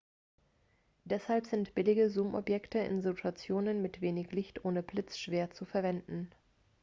deshalb sind billige zoomobjektive in situationen mit wenig licht ohne blitz schwer zu verwenden